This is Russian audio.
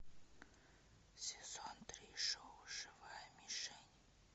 сезон три шоу живая мишень